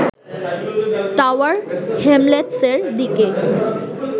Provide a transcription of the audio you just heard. tower হ্যামলেটসের দিকে